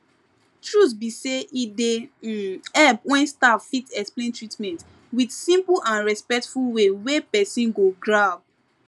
truth be say e dey um help when staff fit explain treatment with simple and respectful way wey person go grab